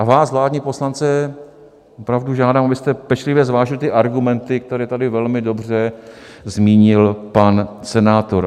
A vás, vládní poslance, opravdu žádám, abyste pečlivě zvážili ty argumenty, které tady velmi dobře zmínil pan senátor.